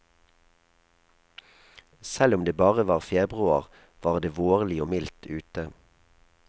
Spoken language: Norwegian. Selv om det bare var februar, var det vårlig og mildt ute.